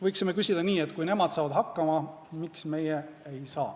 Võiksime küsida nii, et kui nemad saavad hakkama, siis miks meie ei saa.